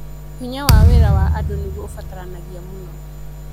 Hinya wa wĩra wa andũ nĩguo ũbataranagia mũno.